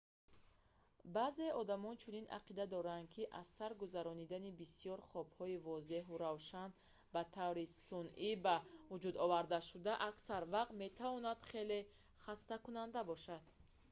баъзеи одамон чунин ақида доранд ки аз сар гузаронидани бисёр хобҳои возеҳу равшани ба таври сунъӣ ба вуҷудовардашуда аксар вақт метавонад хеле хастакунанда бошад